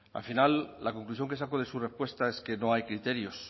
al final la conclusión que saco de su respuesta es que no hay criterios